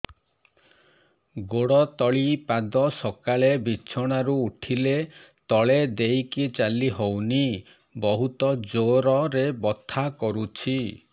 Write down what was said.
ଗୋଡ ତଳି ପାଦ ସକାଳେ ବିଛଣା ରୁ ଉଠିଲେ ତଳେ ଦେଇକି ଚାଲିହଉନି ବହୁତ ଜୋର ରେ ବଥା କରୁଛି